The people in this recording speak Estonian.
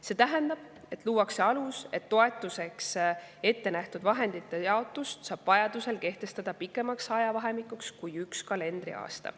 See tähendab, et luuakse alus, et toetuseks ette nähtud vahendite jaotust saaks vajaduse korral kehtestada pikemaks ajavahemikuks kui üks kalendriaasta.